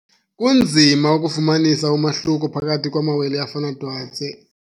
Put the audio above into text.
Kunzima ukufumanisa umahluko phakathi kwamawele afana twatse.